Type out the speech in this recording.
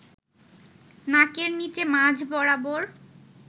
নাকের নিচে মাঝ বরাবর